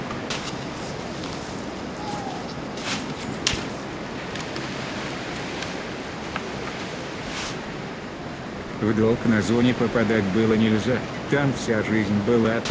в долг на зоне попадать было нельзя там вся жизнь была